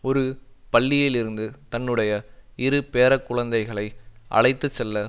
ஒரு பள்ளியில் இருந்து தன்னுடைய இரு பேரக் குழந்தைகளை அழைத்து செல்ல